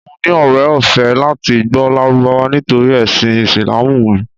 Mo ní ọrẹ ọ̀fẹ́ láti gbọ́ Lárúbáwá nítorí ẹ̀sìn Ìsìlámù mi.